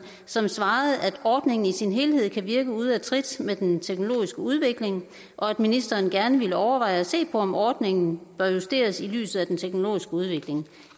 som svarede at ordningen i sin helhed kan virke ude af trit med den teknologiske udvikling og at ministeren gerne ville overveje at se på om ordningen bør justeres i lyset af den teknologiske udvikling